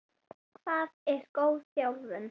Hvað er góð þjálfun?